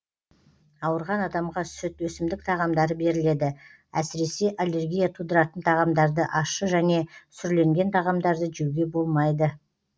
ауырған адамға сүт өсімдік тағамдары беріледі әсіресе аллергия тудыратын тағамдарды ащы және сүрленген тағамдарды жеуге болмайды